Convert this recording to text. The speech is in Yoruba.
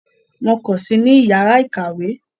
Wọn kò sí ní yàrá ìkàwé.